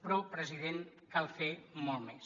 però president cal fer molt més